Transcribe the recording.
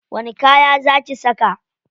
Wani kaya za ki saka?